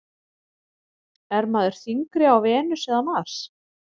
Er maður þyngri á Venus eða Mars?